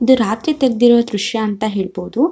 ಇದು ರಾತ್ರಿ ತೆಗದಿರೋ ದೃಶ್ಯ ಅಂತ ಹೇಳ್ಬೋದು.